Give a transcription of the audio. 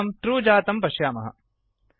फलितं ट्रू जातं पश्यामः